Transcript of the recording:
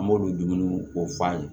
An b'olu dumuniw ko fɔ an ye